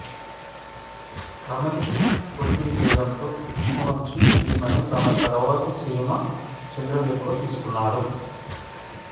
రమ్యకృష్ణ ఒత్తిడి చేయడంతో కృష్ణవంశీ ఈమెను తన తరువాతి సినిమా చంద్రలేఖలో తీసుకున్నాడు